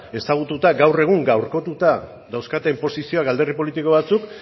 ezagututa gaur egun gaurkotuta dauzkaten posizioak alderdi politiko batzuk